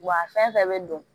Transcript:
Wa a fɛn fɛn bɛ don